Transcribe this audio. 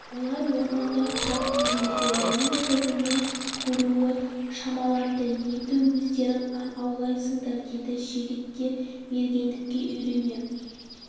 олар орманда тұратын еді менің көзімнің көруі шамаланды енді өздерің аң аулайсыңдар деді жігіттер мергендікке үйрене